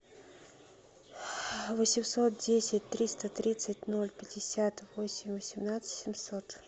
восемьсот десять триста тридцать ноль пятьдесят восемь восемнадцать семьсот